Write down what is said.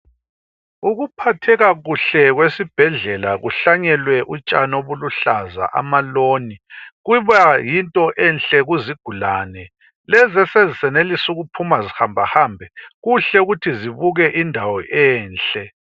ukuphatheka kuhle kwesibhedlela kuhlanyelwe utshani obuluhlaza ama loan kuba yinto enhle kuzigulane lezi esezisenenlisa ukuphuma zihamba hambe kuhle ukuthi zibuke indawo enhle